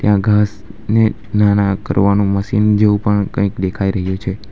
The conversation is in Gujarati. ઘાસ ને નાના કરવાનું મશીન જેવું પણ કંઈક દેખાઈ રહ્યું છે.